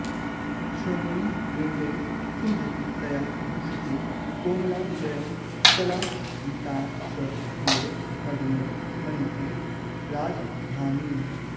श्रोणीबिम्बे सुमहति तया भूषिते कोमलाङ्ग्याः सालावीतां स किल मदनो मन्यते राजधानीम्